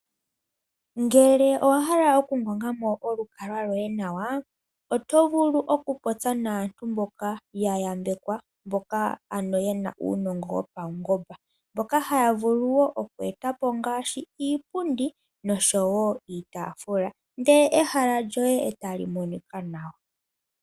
Ngele owa hala okungonga mo olukalwa loye nawa, oto vulu okupopya naantu mboka ya yambekwa mboka ano yena uunongo wo paungomba. Mboka haya vulu wo oku eta po ngaashi iipundi nosho wo iitaafula ndele ehala lyoye e tali monika nawa.